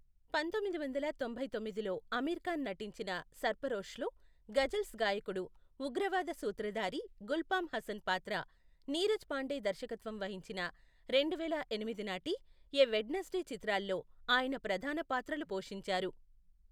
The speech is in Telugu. పంతొమ్మిది వందల తొంభై తొమ్మిదిలో అమీర్ ఖాన్ నటించిన సర్ఫరోష్లో గజల్స్ గాయకుడు ఉగ్రవాద సూత్రధారి గుల్ఫామ్ హసన్ పాత్ర, నీరజ్ పాండే దర్శకత్వం వహించిన రెండువేల ఎనిమిది నాటి ఎ వెడ్నెస్డే, చిత్రాల్లో ఆయన ప్రధాన పాత్రలు పోషించారు.